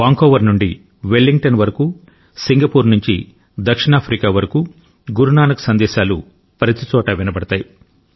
Vancouver నుండి Wellington వరకు Singapore నుండి దక్షిణాఫ్రికా వరకు గురు నానక్ సందేశాలు ప్రతిచోటా వినబడతాయి